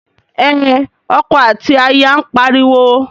Ẹn, ọkọ àti aya ń pariwo.